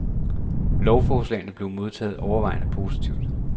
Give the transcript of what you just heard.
Lovforslaget blev modtaget overvejende positivt.